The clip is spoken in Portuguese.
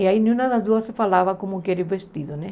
E aí nenhuma das duas falava como que era o vestido, né?